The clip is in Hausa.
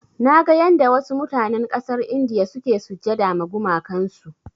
Naga yanda wasu mutanen ƙasar India suke sujjada ma gumakan su.